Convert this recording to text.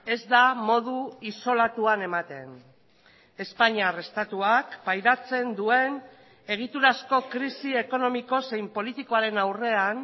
ez da modu isolatuan ematen espainiar estatuak pairatzen duen egiturazko krisi ekonomiko zein politikoaren aurrean